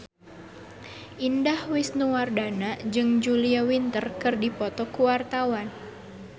Indah Wisnuwardana jeung Julia Winter keur dipoto ku wartawan